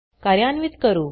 कार्यान्वीत करू